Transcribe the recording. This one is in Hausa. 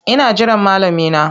Ina jiran malami na.